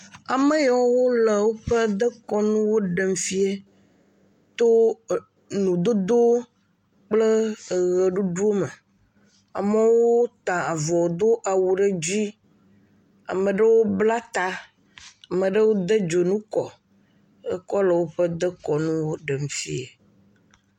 Ame yawo le woƒe dekɔnuwo ɖem fia to enudodo kple eʋeɖuɖu me. Amewo ta avɔ do awu ɖe dzi. Ame ɖewo bla ta, ame ɖewo de dzonu kɔ ekɔ le woƒe dekɔnuwo ɖem fiae.